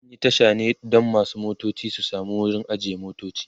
an Yi Tasha ne Dan masu motoci su samu wurin ajiye motoci